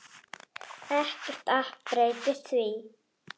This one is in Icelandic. Ekkert app breytir því.